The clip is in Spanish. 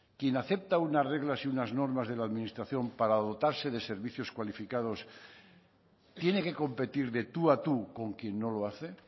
quien acepta unas reglas y unas normas de la administración para dotarse de servicios cualificados tiene que competir de tú a tú con quién no lo hace